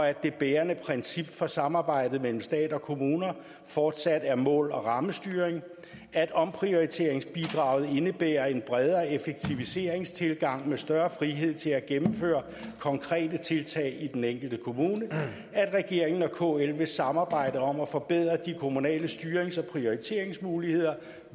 at det bærende princip for samarbejdet mellem stat og kommuner fortsat er mål og rammestyring at omprioriteringsbidraget indebærer en bredere effektiviseringstilgang med større frihed til at gennemføre konkrete tiltag i den enkelte kommune at regeringen og kl vil samarbejde om at forbedre de kommunale styrings og prioriteringsmuligheder